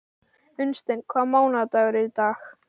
Unnsteinn, hvaða mánaðardagur er í dag?